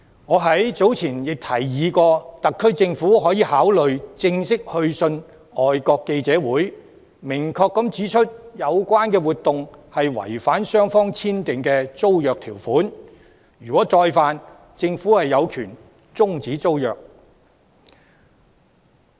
我早前亦曾提議，特區政府可以考慮正式去信外國記者會，明確指出有關活動違反雙方簽訂的租約條款，如有再犯，政府有權終止租約。